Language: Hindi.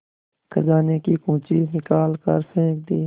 खजाने की कुन्जी निकाल कर फेंक दी